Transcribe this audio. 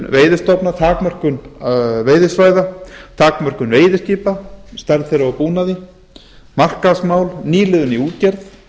veiðistofna takmörkun veiðisvæða takmörkun veiðiskipa stærð þeirra og búnað markaðsmál nýliðun í útgerð